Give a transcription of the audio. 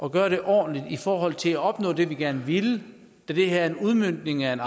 at gøre det ordentligt i forhold til at opnå det vi gerne ville da det her er en udmøntning af en